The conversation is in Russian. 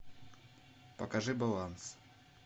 покажи баланс